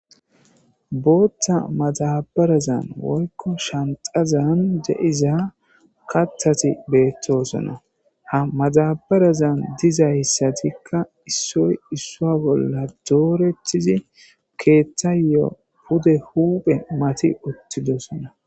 boottha matadarazan woykko shanxazan da'iza kathati beettosona ha maxabarazan diza yssatikka issoy issoa bolla dooretizi keethtthayyo pude huuphe mati uttidosona